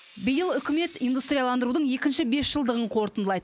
биыл үкімет индустрияландырудың екінші бесжылдығын қорытындылайды